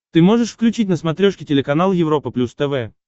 ты можешь включить на смотрешке телеканал европа плюс тв